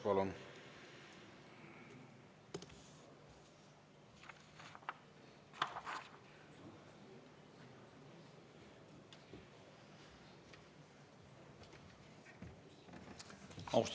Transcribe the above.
Palun!